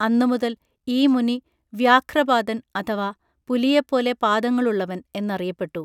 അന്നുമുതൽ ഈ മുനി വ്യാഘ്രപാദൻ അഥവാ പുലിയെപ്പോലെ പാദങ്ങളുള്ളവൻ എന്നറിയപ്പെട്ടു